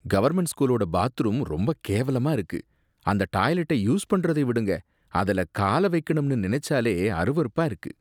Government ஸ்கூலோட bathroom ரொம்ப கேவலமா இருக்கு. அந்த டாய்லெட்டை யூஸ் பண்றதை விடுங்க, அதுல கால வைக்கணும்னு நினைச்சாலே அருவருப்பா இருக்கு.